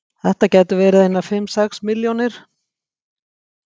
Þetta gætu verið einar fimm, sex milljónir.